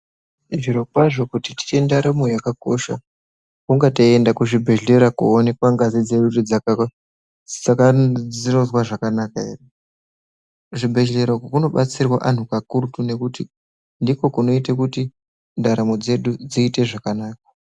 Zvirokwazvo kuti tiite ndaramo yakakosha hunga teienda kuzvibhedhlera koonekwa ngazi dzedu kuti dzirikuzwa zvakanaka here. Kuzvibhedhlera uku kunobatsirwa vantu kakurutu nekuti ndiko kunoite kuti ndaramo dzedu dziite zvakanaka.